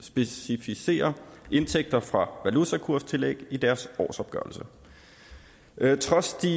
specificere indtægter fra valutakurstillæg i deres årsopgørelse trods de